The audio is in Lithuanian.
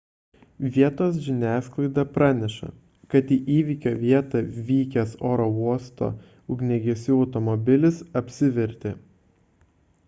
vietos žiniasklaida praneša kad į įvykio vietą vykęs oro uosto ugniagesių automobilis apsivertė